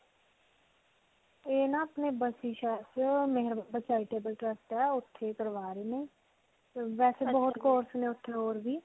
ਇਹ ਨਾ ਅਪਨੇ ਓੱਥੇ ਕਰਵਾ ਰਹੇ ਨੇ. ਵੈਸੇ ਬਹੁਤ course ਨੇ ਓਥੇ ਹੋਰ ਵੀ.